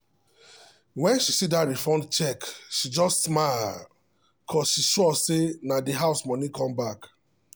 when she see that refund check she just smile cuz she dey sure say de house money come back